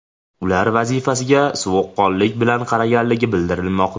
Ular vazifasiga sovuqqonlik bilan qaraganligi bildirilmoqda.